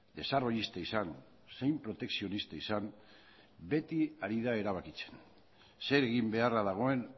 desarrollista izan zein protekzionista izan beti ari da erabakitzen zer egin beharra dagoen